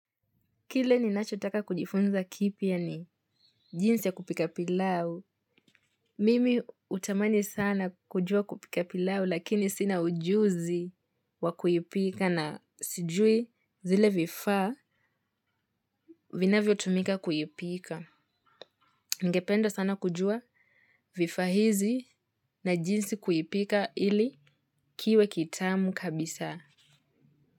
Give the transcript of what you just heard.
Kile ninachotaka kujifunza kipya ni jinsi ya kupika pilau. Mimi hutamani sana kujua kupika pilau lakini sina ujuzi wa kuipika na sijui zile vifaa vinavyo tumika kuipika. Ningependa sana kujua vifaa hizi na jinsi kuipika ili kiwe kitamu kabisa.